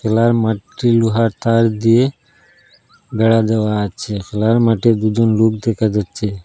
খেলার মাঠটি লোহার তার দিয়ে বেড়া দেওয়া আছে খেলার মাঠে দুজন লোক দেখা যাচ্ছে।